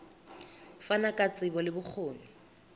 fana ka tsebo le bokgoni